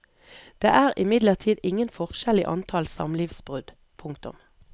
Det er imidlertid ingen forskjell i antall samlivsbrudd. punktum